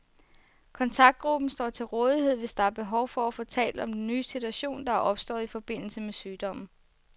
Kontaktgruppen står til rådighed, hvis der er behov for få talt om den nye situation, der er opstået i forbindelse med sygdommen.